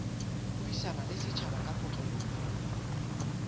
buisana le setjhaba ka kotloloho